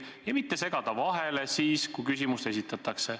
Ta ei tohiks segada vahele, kui küsimust esitatakse.